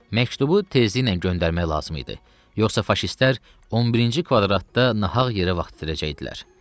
Məktubu tezliklə göndərmək lazım idi, yoxsa faşistlər 11-ci kvadratda nahaq yerə vaxt itirəcəkdilər.